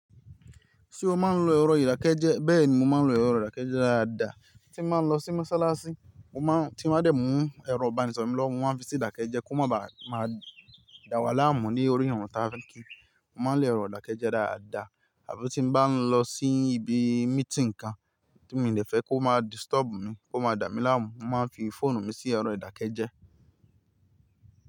Ṣé o máa ń lo ẹ̀rọ ìdàkejì? Bẹ́ẹ̀ni mo máa ń lo ẹ̀rọ ìdàkeje dáadáa. Tí n bá ń lọ sí Mọ́sálásí mo máa ń, tí n bá dẹ̀ mú ẹ̀rọ ìbánisọ̀rọ̀ mi lọwo, mo máa ń fi sí ìdàkeje kí ó máa ba à máa dà wà láàmú ní orí ìrun taafe kí mo máa n lo ero ìdàkeje dáadáa. Àbí tí n bá ń lọ sí ibi meeting kan tí mi ò dẹ fẹ́ kí ó máa disturb mi, kó máa dà mi láàmú, mo máa ń fi fóònù mi sí ẹ̀rọ ìdàkeje.